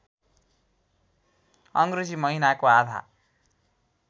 अङ्ग्रेजी महिनाको आधा